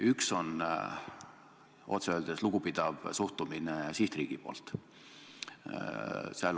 Üks on otse öeldes lugupidav suhtumine sihtriigi poolt.